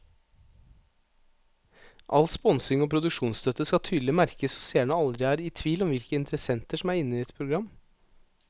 All sponsing og produksjonsstøtte skal tydelig merkes så seerne aldri er i tvil om hvilke interessenter som er inne i et program.